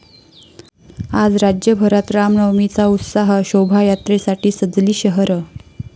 आज राज्यभरात रामनवमीचा उत्साह, शोभायात्रेसाठी सजली शहरं